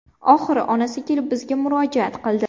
Oxiri onasi kelib bizga murojaat qildi.